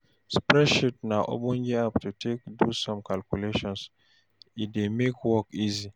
Spreadsheet na ogbonge app to take do some calculations, e dey make work easy